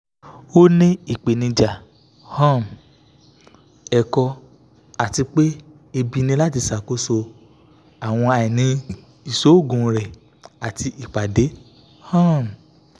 o ni ipenija um ẹkọ ati pe ẹbi ni lati ṣakoso awọn aini iṣoogun rẹ ati ipade um